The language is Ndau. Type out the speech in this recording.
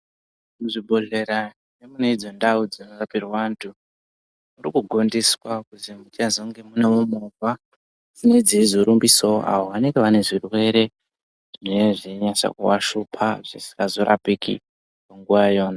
Muzvibhedhlera mune idzo ndau dzakaakirwa antu, kuri kugondeswa kuti muchazonge munewo movha dzine dzeizorumbisawo awo vanenge vane zvirwere zvine zvechinasa kuvashupa zvisingazorapiki munguwa iyona.